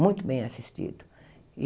muito bem assistido.